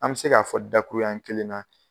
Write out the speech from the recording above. An be se ka fɔ da kuru ɲɛ kelen na